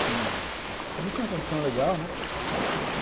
Também tinha uma condição legal, né?